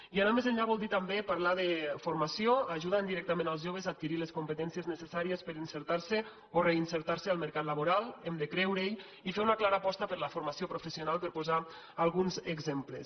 i anar més enllà vol dir també parlar de formació ajudant directament els joves a adquirir les competències necessàries per inserir se o reinserir se al mercat laboral hem de creure hi i fer una clara aposta per la formació professional per posar alguns exemples